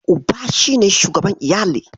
Uba shi ne shugaban iyali